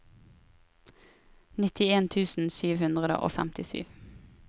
nittien tusen sju hundre og femtisju